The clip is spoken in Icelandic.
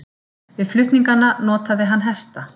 Til flutninganna notaði hann hesta.